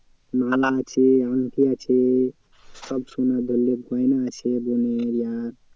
মালা আছে আংটি আছে সব সোনার ধরেনে গয়না আছে বোনের আর